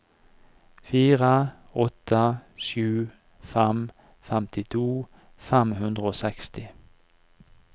fire åtte sju fem femtito fem hundre og seksti